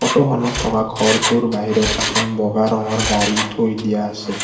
ফটোখনত থকা ঘৰটোৰ বাহিৰত এখন বগা ৰঙৰ গাড়ী থৈ দিয়া আছে।